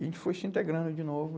E a gente foi se integrando de novo.